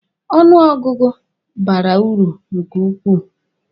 Ọnụ ọgụgụ bara uru nke ukwuu.